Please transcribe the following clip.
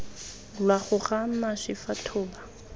lwa goga mašwi fa thoba